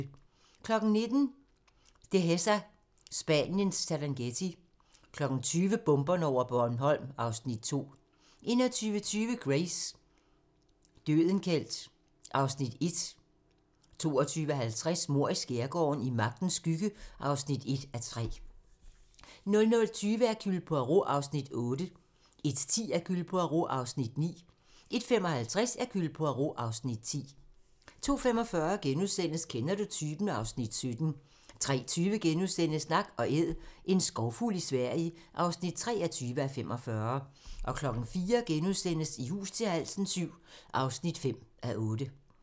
19:00: Dehesa - Spaniens Serengeti 20:00: Bomberne over Bornholm (Afs. 2) 21:20: Grace: Dødenkelt (Afs. 1) 22:50: Mord i skærgården: I magtens skygge (1:3) 00:20: Hercule Poirot (Afs. 8) 01:10: Hercule Poirot (Afs. 9) 01:55: Hercule Poirot (Afs. 10) 02:45: Kender du typen? (Afs. 17)* 03:20: Nak & Æd - en skovfugl i Sverige (23:45)* 04:00: I hus til halsen VII (5:8)*